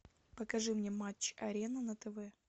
покажи мне матч арена на тв